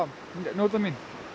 að njóta mín